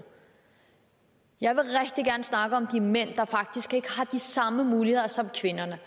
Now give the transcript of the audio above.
jeg vil rigtig gerne snakke om de mænd der faktisk ikke har de samme muligheder som kvinderne